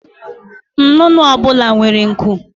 Nnụnụ ọ bụla nwere nku